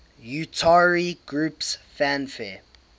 utari groups fanfare